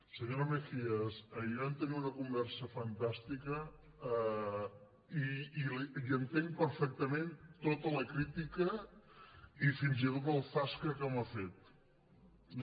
senyora mejías ahir vam tenir una conversa fantàstica i entenc perfectament tota la crítica i fins i tot el zascaraó